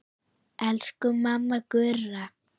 Elsku mamma Gurra.